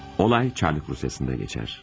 Olay Çarlık Rusya'sında geçer.